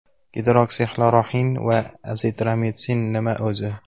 Gidroksixloroxin va azitromitsin nima o‘zi?